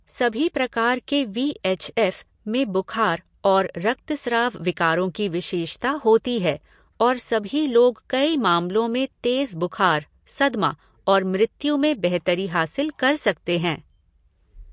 सभी प्रकार के वी एच एफ़ में बुखार और रक्तस्राव विकारों की विशेषता होती है और सभी लोग कई मामलों में तेज बुखार, सदमा और मृत्यु में बेहतरी हासिल कर सकते हैं।